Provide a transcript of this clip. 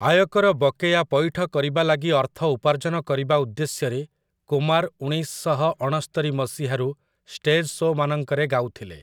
ଆୟକର ବକେୟା ପଇଠ କରିବା ଲାଗି ଅର୍ଥ ଉପାର୍ଜନ କରିବା ଉଦ୍ଦେଶ୍ୟରେ କୁମାର୍ ଉଣେଇଶ ଶହ ଅଣସ୍ତରି ମସିହାରୁ ଷ୍ଟେଜ୍ ଶୋ'ମାନଙ୍କରେ ଗାଉଥିଲେ ।